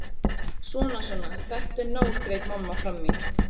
Svona, svona, þetta er nóg greip mamma fram í.